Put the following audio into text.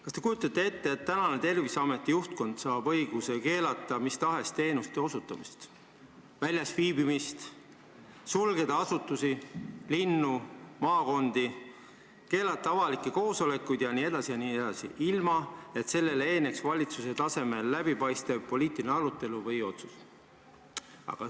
Kas te kujutate ette, et tänane Terviseameti juhtkond saab õiguse keelata mis tahes teenuste osutamist ja väljas viibimist, sulgeda asutusi, linnu ja maakondi, keelata avalikke koosolekuid jne, ilma et sellele eelneks valitsuse tasemel läbipaistev poliitiline arutelu või otsus?